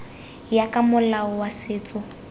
ya ka molao wa setso